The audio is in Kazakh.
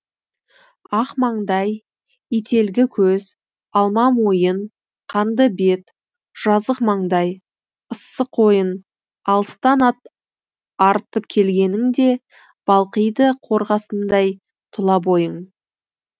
ақ маңдай ителгі көз алма мойын қанды бет жазық маңдай ыссы қойын алыстан ат арытып келгеніңде балқиды қорғасындай тұла бойың